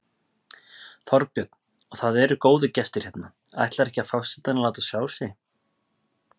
Þorbjörn: Og það eru góðir gestir hérna, ætlar ekki forsetinn að láta sjá sig?